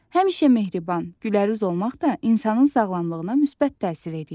Həmişə mehriban, gülərüz olmaq da insanın sağlamlığına müsbət təsir eləyir.